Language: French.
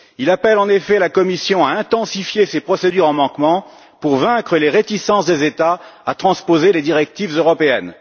Il appelle, en effet, la Commission à intensifier ses procédures en manquement pour vaincre les réticences des États à transposer les directives européennes.